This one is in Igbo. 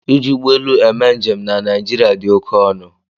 Iji ụgbọ elu eme njem na nigeria dị oke ọnụ.